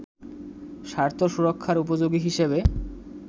স্বার্থ সুরক্ষার উপযোগী হিসেবে